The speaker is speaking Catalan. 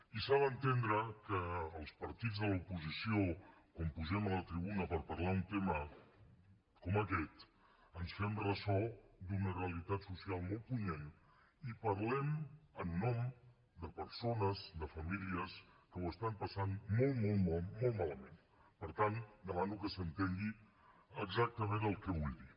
i s’ha d’entendre que els partits de l’oposició quan pugem a la tribuna per parlar d’un tema com aquest ens fem ressò d’una realitat social molt punyent i parlem en nom de persones de famílies que ho estan passant molt molt malament per tant demano que s’entengui exactament el que vull dir